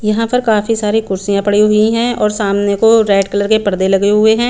यहाँ पर काफी सारी कुर्सियां पड़ी हुई है सामने को रेड कलर के परदे लगे हुए है।